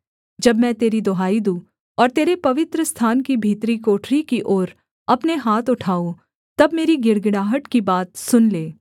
जब मैं तेरी दुहाई दूँ और तेरे पवित्रस्थान की भीतरी कोठरी की ओर अपने हाथ उठाऊँ तब मेरी गिड़गिड़ाहट की बात सुन ले